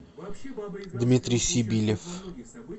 дмитрий сибилев